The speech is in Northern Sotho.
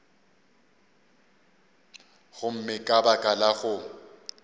gomme ka baka la go